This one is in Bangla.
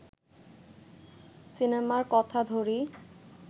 সিনেমার কথা ধরি